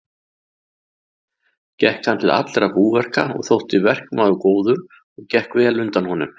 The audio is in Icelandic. Gekk hann til allra búverka og þótti verkmaður góður og gekk vel undan honum.